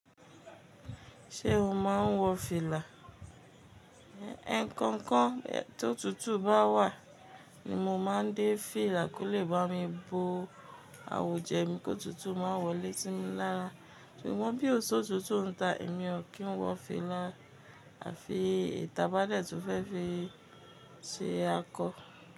Ṣé o máa ń wọ fìlà? Ẹkonkan tó tutù bá wà ni mo máa ń dé fìlà kó lè bá mi bo àwuj'ẹ mi kó tutù má wọlé sí mi lára. Ṣùgbọ́n bí òṣó tutù ń ta èmi ò kí ń wọ fìlà. À fi e ta bá dẹ̀ tun fẹ́ fi ṣe akọ.